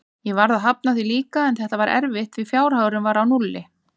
Ég varð að hafna því líka, en þetta var erfitt því fjárhagurinn var á núlli.